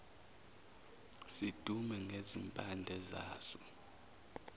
sidume ngezimpande zaso